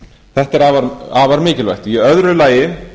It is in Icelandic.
þetta er afar mikilvægt í öðru lagi